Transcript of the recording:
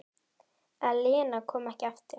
Að Lena komi ekki aftur.